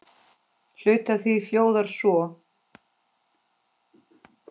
Hluti af því hljóðar svo